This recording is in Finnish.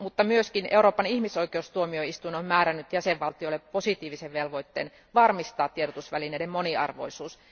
Myös Euroopan ihmisoikeustuomioistuin on määrännyt jäsenvaltioille positiivisen velvoitteen varmistaa tiedotusvälineiden moniarvoisuus.